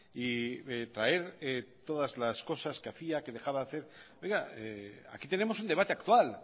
y traer todas las cosas que hacía que dejaba de hacer aquí tenemos un debate actual